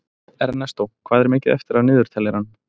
Ernestó, hvað er mikið eftir af niðurteljaranum?